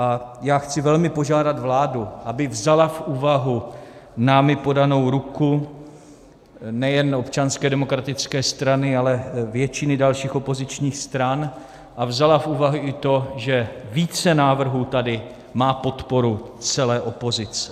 A já chci velmi požádat vládu, aby vzala v úvahu námi podanou ruku, nejen Občanské demokratické strany, ale většiny dalších opozičních stran, a vzala v úvahu i to, že více návrhů tady má podporu celé opozice.